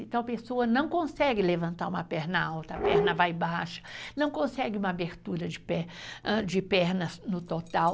Então, a pessoa não consegue levantar uma perna alta, a perna vai baixa, não consegue uma abertura de pernas no total.